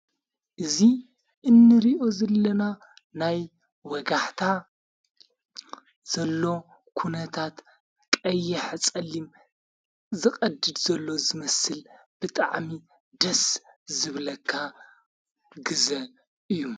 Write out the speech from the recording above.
እዙ እንርእዮ ዘለና ናይ ወጋሕታ ዘሎ ኲነታት ቀይሕ ጸሊም ዝቐድድ ዘሎ ዝመስል ብጥዓሚ ደስ ዝብለካ ግዘ እዩ።